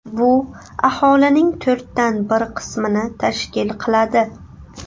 Bu aholining to‘rtdan bir qismini tashkil qiladi.